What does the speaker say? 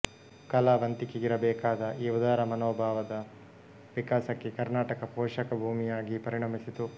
ಕಲಾವಂತಿಕೆಗಿರಬೇಕಾದ ಈ ಉದಾರಮನೋಭಾವದ ವಿಕಾಸಕ್ಕೆ ಕರ್ನಾಟಕ ಪೋಷಕ ಭೂಮಿಯಾಗಿ ಪರಿಣಮಿಸಿತು